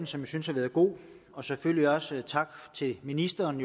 som jeg synes har været god og selvfølgelig også sige tak til ministeren